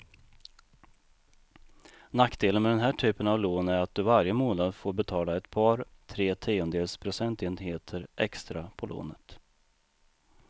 Nackdelen med den här typen av lån är att du varje månad får betala ett par, tre tiondels procentenheter extra på lånet.